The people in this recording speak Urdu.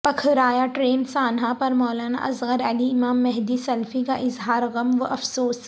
پکھرایاں ٹرین سانحہ پر مولانا اصغرعلی امام مہدی سلفی کا اظہار غم و افسوس